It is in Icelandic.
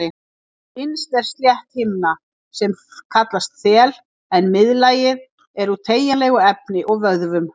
Innst er slétt himna sem kallast þel en miðlagið er úr teygjanlegu efni og vöðvum.